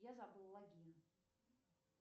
я забыл логин